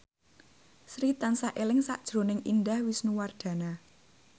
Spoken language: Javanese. Sri tansah eling sakjroning Indah Wisnuwardana